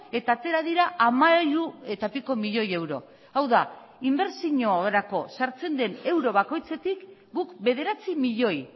eta atera dira hamairu eta piko milioi euro hau da inbertsiorako sartzen den euro bakoitzetik guk bederatzi milioi